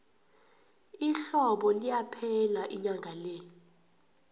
ihlobo liyaphela inyanga le